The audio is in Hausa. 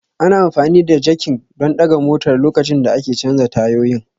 Ana amfani da jakin don ɗaga motar lokacin da ake canza tayoyin